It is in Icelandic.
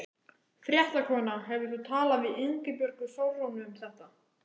Fréttakona: Hefur þú talað við Ingibjörgu Sólrúnu um þetta?